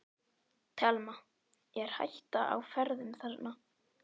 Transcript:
Telma: Er hætta á ferðum þarna?